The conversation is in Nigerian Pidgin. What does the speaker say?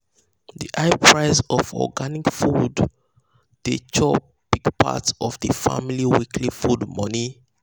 the high price of organic food organic food dey chop big part of the family weekly food money.